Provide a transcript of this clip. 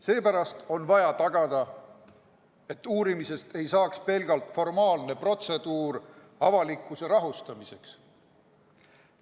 Seepärast on vaja tagada, et uurimisest ei saaks pelgalt formaalne protseduur avalikkuse rahustamiseks.